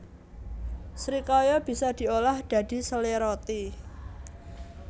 Srikaya bisa diolah dadi sele roti